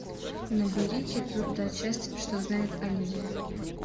набери четвертая часть что знает оливия